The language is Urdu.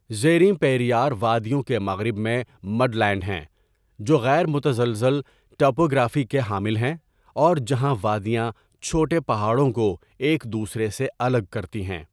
زیریں پیریار وادیوں کے مغرب میں مڈلینڈ ہیں، جو غیر متزلزل ٹپوگرافی کے حامل ہیں اور جہاں وادیاں چھوٹے پہاڑوں کو ایک دوسرے سے الگ کرتی ہیں۔